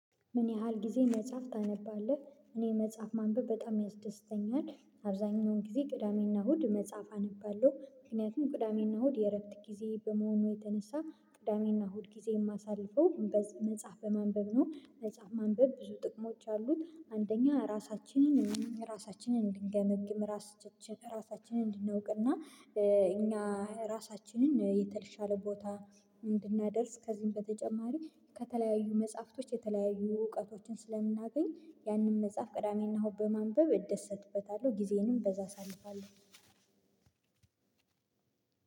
ምን ያህል ጊዜ መጽሐፍ ታነባለህ? እኔ መጽሐፍ ማንበብ በጣም ያስደስተኛል አብዛኛውን ጊዜ ቅዳሜና እሁድ መጽሐፍ አነባለሁ ምክንያቱም ቅዳሜና እሁድ የእረፍት ጊዜዬ በመሆኑ የተነሳ ቅዳሜና እሁድ ጊዜ የማሳልፈው መጽሐፍ በማንበብ ነው። መጽሐፍ ማንበብ ብዙ ጥቅሞች አሉት። አንደኛ ራሳችንን ራሳችንን እንድንገመግም ራስ ራሳችንን እንድናውቅና እኛ ራሳችንን የተለሻለ ቦታ እንድናደርስ ከዚህም በተጨማሪ ከተለያዩ መጽሐፍቶች የተለያዩ እውቀቶችን ስለምናገኝ ያንን መጽሐፍ ቅዳሜና እሁድ በማንበብ እደሰትበታለሁ። ጊዜዬንም በዛ አሳልፋለሁ።